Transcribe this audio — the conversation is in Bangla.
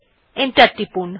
এন্টার টিপুন